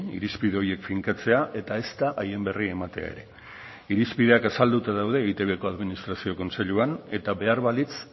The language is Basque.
irizpide horiek finkatzea eta ezta haien berri ematea ere irizpideak azalduta daude eitbko administrazio kontseiluan eta behar balitz